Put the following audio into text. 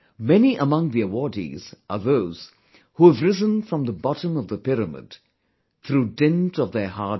Many among the awardees are those who have risen from the bottom of the pyramid through dint of their hard work